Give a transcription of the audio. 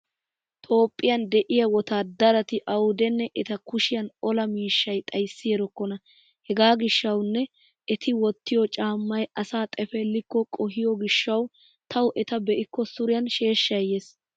Toophphiyan de'iya wotaaddarati awudenne eta kushiyan ola miishsha xayssi erekkona. Hega gishshawunne eti wottiyo caammay asa xefeellikko qohiyo gishshawu tawu eta be'ikko suriyan sheeshshay yees.